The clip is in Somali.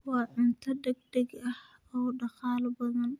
Waa cunto degdeg ah oo dhaqaale badan.